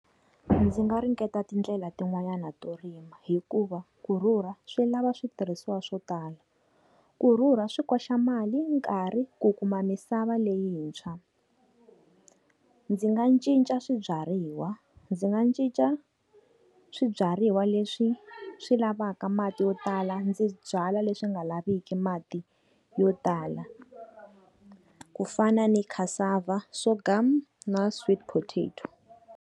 Ndzi nga ringeta tindlela tin'wanyana to rima hikuva, ku rhurha swi lava switirhisiwa swo tala. Ku rhurha swi koxa mali, yi nkarhi, ku kuma misava leyintshwa. Ndzi nga cinca swibyariwa. Ndzi nga cinca swibyariwa leswi swi lavaka mati yo tala ndzi byala leswi nga laviki mati yo tala. Ku fana ni cassava, sorghum ni sweet potato.